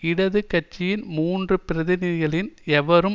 இடது கட்சியின் மூன்று பிரதிநிதிகளின் எவரும்